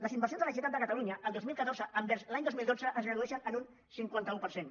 les inversions de la generalitat de catalunya el dos mil catorze envers l’any dos mil dotze es redueixen en un cinquanta un per cent